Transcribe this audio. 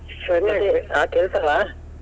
ಸರಿ ಆ ಕೆಲ್ಸವಾ?